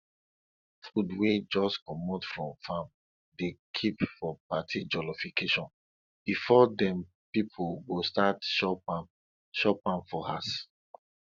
food wey jus comot from farm dey kip for party jollification before dem pipo go start chop am chop am for house